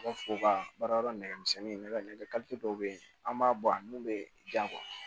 baara yɔrɔ nɛgɛmisɛnnin nɛgɛ dɔw bɛ ye an b'a bɔ a min bɛ jan